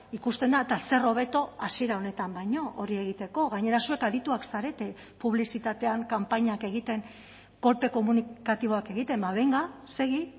ikusten da eta zer hobeto hasiera honetan baino hori egiteko gainera zuek adituak zarete publizitatean kanpainak egiten kolpe komunikatiboak egiten ba benga segi